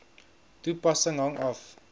toepassing hang af